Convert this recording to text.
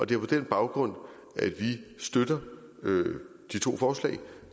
det er på den baggrund at vi støtter de to forslag